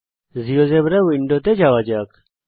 GeoGebra উইন্ডোতে যাওয়া যাক